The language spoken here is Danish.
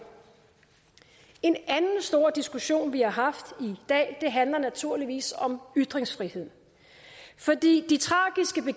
en anden stor diskussion vi har haft i dag handler naturligvis om ytringsfrihed fordi